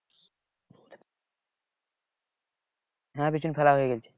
হ্যাঁ বিচন ফেলা হয়ে গেছে